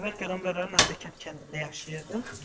Əvvəl qəmbərlər Nadiq kəndində yaşayırdım.